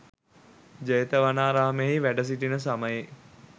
ජේතවනාරාමයෙහි වැඩසිිටින සමයෙහි